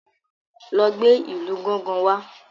lọ gbé ìlù gángan wá!